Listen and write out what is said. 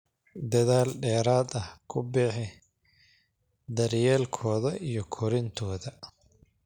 dadaal dheeraad ah ku bixi daryeelkooda iyo korintooda.